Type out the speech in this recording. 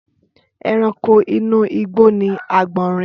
Ẹranko inú igbó ni agbọnrìn.